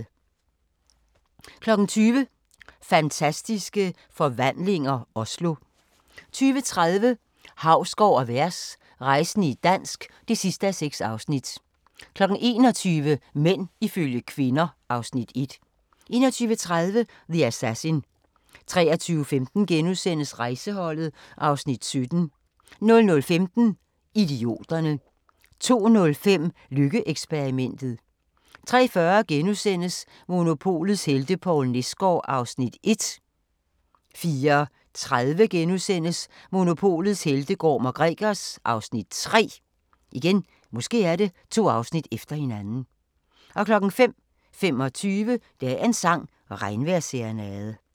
20:00: Fantastiske Forvandlinger - Oslo 20:30: Hausgaard & Vers – rejsende i dansk (6:6) 21:00: Mænd ifølge kvinder (Afs. 1) 21:30: The Assassin 23:15: Rejseholdet (Afs. 17)* 00:15: Idioterne 02:05: Lykke-eksperimentet 03:40: Monopolets helte - Poul Nesgaard (Afs. 1)* 04:30: Monopolets helte - Gorm & Gregers (Afs. 3)* 05:25: Dagens sang: Regnvejrsserenade *